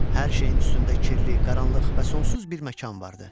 Hər şeyin üstündə kirli, qaranlıq və sonsuz bir məkan vardı.